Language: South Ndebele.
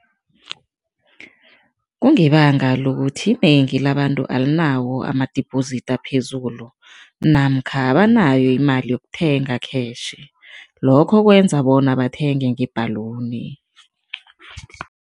Kungebanga lokuthi, inengi labantu alinawo ama-deposit aphezulu namkha abanayo imali yokuthenga cash, lokho kwenza bona bathenge nge-balloon.